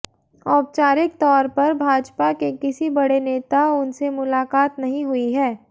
औपचारिक तौर फर भाजपा के किसी बड़े नेता उनसे मुलाकात नहीं हुई है